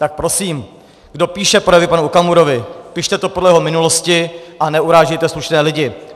Tak prosím, kdo píše projevy panu Okamurovi, pište to podle jeho minulosti a neurážejte slušné lidi.